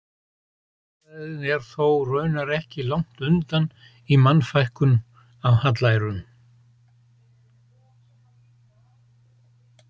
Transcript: Guðfræðin er þó raunar ekki langt undan í Mannfækkun af hallærum.